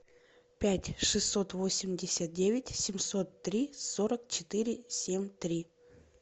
пять шестьсот восемьдесят девять семьсот три сорок четыре семь три